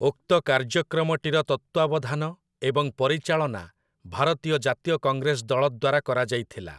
ଉକ୍ତ କାର୍ଯ୍ୟକ୍ରମଟିର ତତ୍ତ୍ଵାବଧାନ ଏବଂ ପରିଚାଳନା ଭାରତୀୟ ଜାତୀୟ କଂଗ୍ରେସ ଦଳ ଦ୍ଵାରା କରାଯାଇଥିଲା ।